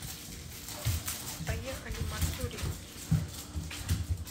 поехали мацури